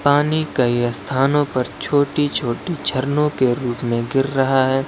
पानी कई स्थानो पर छोटी छोटी झरने के रूप में गिर रहा है।